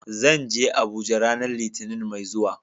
Zan je Abuja ranar Litinin mai zuwa.